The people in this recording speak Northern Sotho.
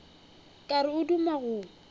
ka re o duma go